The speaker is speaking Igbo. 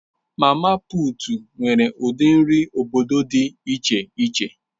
Mama putu nwere ụdị nri obodo dị iche iche.